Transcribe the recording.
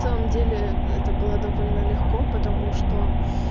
на самом деле это было довольно легко потому что